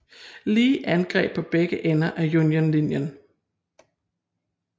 Lee angreb på begge ender af Unionens linje